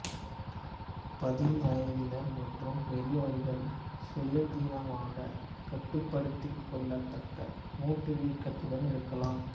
பதின்வயதினர் மற்றும் பெரியவர்கள் சுயாதீனமாக கட்டுப்படுத்திக் கொள்ளத்தக்க மூட்டு வீக்கத்துடன் இருக்கலாம்